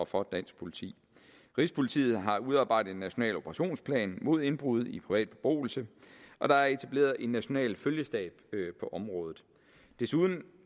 for dansk politi rigspolitiet har udarbejdet en national operationsplan mod indbrud i privat beboelse og der er etableret en national følgestab på området desuden